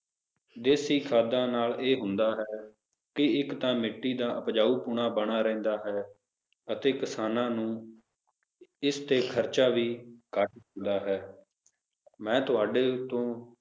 ਦੇਸੀ ਖਾਦਾਂ ਨਾਲ ਇਹ ਹੁੰਦਾ ਹੈ ਕੀ ਇੱਕ ਤਾਂ ਮਿੱਟੀ ਦਾ ਉਪਜਾਊਪੁਣਾ ਬਣਿਆ ਰਹਿੰਦਾ ਹੈ ਅਤੇ ਕਿਸਾਨਾਂ ਨੂੰ ਇਸ ਤੇ ਖਰਚਾ ਵੀ ਘਟ ਹੁੰਦਾ ਹੈ ਮੈਂ ਤੁਹਾਡੇ ਤੋਂ